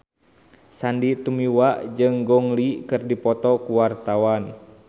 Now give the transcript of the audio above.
Sandy Tumiwa jeung Gong Li keur dipoto ku wartawan